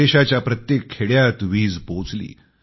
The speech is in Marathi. देशाच्या प्रत्येक खेड्यात वीज पोहोचली